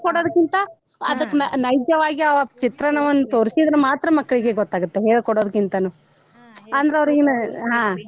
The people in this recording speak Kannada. ಹೇಳಿ ಕೋಡೋದಕ್ಕಿಂತಾ ಅದಕ್ಕ ನೈಜ್ಯವಾಗಿ ಆ ಚಿತ್ರಣವನ್ನ ತೋರ್ಸಿದ್ರ ಮಾತ್ರ ಮಕ್ಳಿಗೆ ಗೊತ್ತ ಆಗುತ್ತ ಹೇಳಿಕೊಡೋಕಿಂತಾನು .